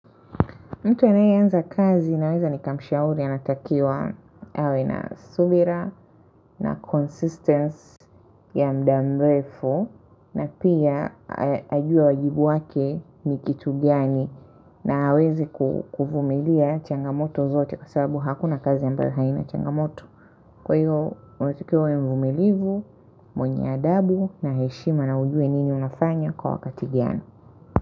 Mtu anayeanza kazi naweza nikamshauri anatakiwa awe na subira na consistence ya muda mrefu na pia ajue wajibu wake ni kitu gani na aweze kuvumilia changamoto zote kwa sababu hakuna kazi ya ambayo haina changamoto. Kwa hiyo, mwetukiawe mvumilivu, mwenye adabu na heshima na ujue nini unafanya kwa wakati gani.